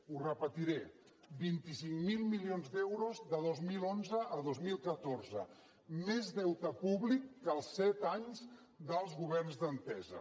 ho repetiré vint cinc mil milions d’euros de dos mil onze a dos mil catorze més deute públic que els set anys dels governs d’entesa